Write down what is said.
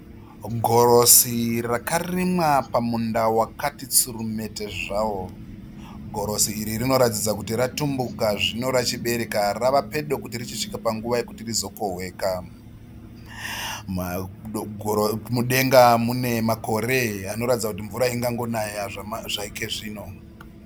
Gorosi rakarimwa pamunda wakati tsurumete zvawo . Gorosi iri rinoratidza kuti rachitumbuka zvino rachibereka rava pedo kuti richisvika panguva yekuti rizokohweka. Mudenga mune makore anoratidza kuti mvura ingangonaye zvaike zvino.